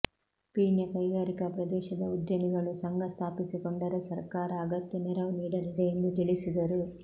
ಪೀಣ್ಯ ಕೈಗಾರಿಕಾ ಪ್ರದೇಶದ ಉದ್ಯಮಿಗಳು ಸಂಘ ಸ್ಥಾಪಿಸಿಕೊಂಡರೆ ಸರ್ಕಾರ ಅಗತ್ಯ ನೆರವು ನೀಡಲಿದೆ ಎಂದು ತಿಳಿಸಿದರು